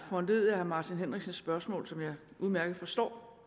foranlediget af herre martin henriksens spørgsmål som jeg udmærket forstår